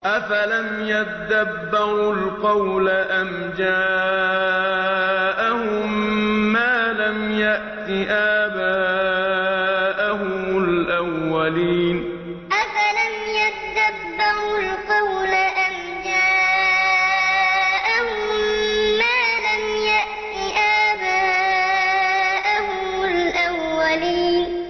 أَفَلَمْ يَدَّبَّرُوا الْقَوْلَ أَمْ جَاءَهُم مَّا لَمْ يَأْتِ آبَاءَهُمُ الْأَوَّلِينَ أَفَلَمْ يَدَّبَّرُوا الْقَوْلَ أَمْ جَاءَهُم مَّا لَمْ يَأْتِ آبَاءَهُمُ الْأَوَّلِينَ